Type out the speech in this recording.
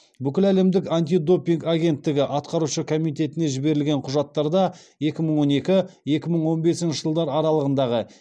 бүкіләлемдік антидопинг агенттігі атқарушы комитетіне жіберілген құжаттарда екі мың он екі екі мың он бесінші жылдар аралығындағы